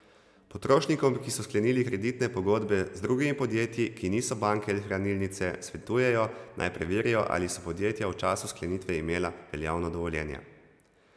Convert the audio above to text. Potrošnikom, ki so sklenili kreditne pogodbe z drugimi podjetji, ki niso banke ali hranilnice, svetujejo, naj preverijo, ali so podjetja v času sklenitve imela veljavno dovoljenje.